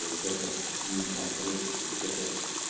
вот это не конкретику вот это